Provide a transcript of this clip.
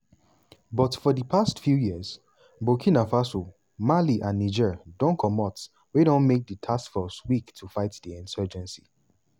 but for di past few years burkina faso mali and niger don comot wey don make di task force weak to fight di insurgency.